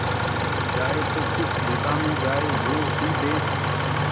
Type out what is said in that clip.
जाए तो किस दिशा में जाए वो ही देस